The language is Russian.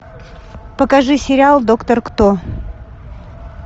покажи сериал доктор кто